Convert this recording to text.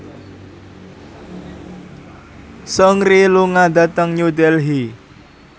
Seungri lunga dhateng New Delhi